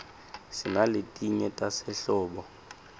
sinaletinye tasehlobo